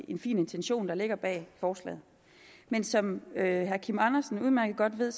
en fin intention der ligger bag forslaget men som herre kim andersen udmærket godt ved